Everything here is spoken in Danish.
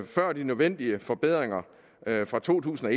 før de nødvendige forbedringer fra to tusind og